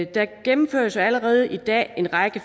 der gennemføres allerede i dag en række